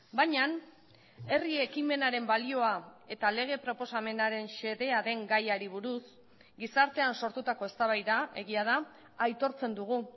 baina herri ekimenaren balioa eta lege proposamenaren xedea den gaiari buruz gizartean sortutako eztabaida egia da aitortzen dugu